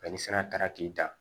ni sira taara k'i dan